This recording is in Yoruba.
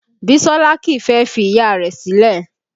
Bisola kìí fẹ́ fi Ìyá rẹ̀ sílẹ̀